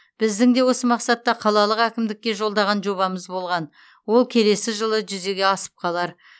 біздің де осы мақсатта қалалық әкімдікке жолдаған жобамыз болған ол келесі жылы жүзеге асып қалар